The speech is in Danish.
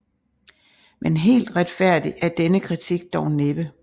Men helt retfærdig er denne kritik dog næppe